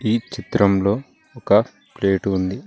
ఈ చిత్రంలో ఒక ప్లేటు ఉంది.